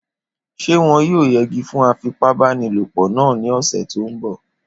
Ṣé wọn yóò yẹgi fún afipábanílòpọ̀ náà ní ọ̀sẹ̀ tó n bọ̀?